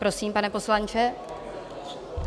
Prosím, pane poslanče.